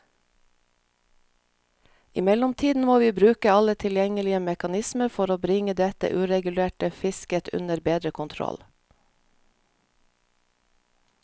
I mellomtiden må vi bruke alle tilgjengelige mekanismer for bringe dette uregulerte fisket under bedre kontroll.